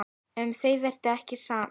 Um það verður ekkert sannað.